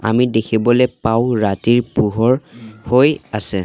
আমি দেখিবলৈ পাওঁ ৰাতিৰ পোহৰ হৈ আছে।